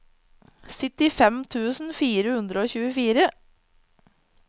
syttifem tusen fire hundre og tjuefire